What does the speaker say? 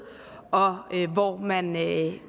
og hvor man ikke